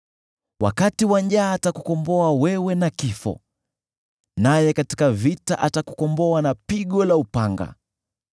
Wakati wa njaa atakukomboa wewe na kifo, naye katika vita atakukomboa na pigo la upanga.